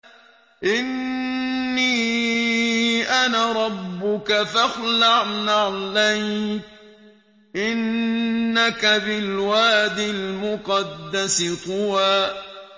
إِنِّي أَنَا رَبُّكَ فَاخْلَعْ نَعْلَيْكَ ۖ إِنَّكَ بِالْوَادِ الْمُقَدَّسِ طُوًى